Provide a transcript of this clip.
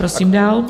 Prosím dál.